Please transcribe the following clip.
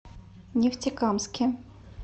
нефтекамске